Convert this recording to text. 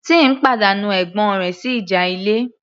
Tim pàdánù ẹ̀gbọ́n rẹ̀ sí ìjà ilé